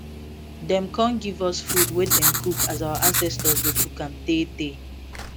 dem con give us food wey dem cook as our ancestors dey cook am tey tey